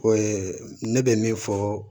O ye ne bɛ min fɔ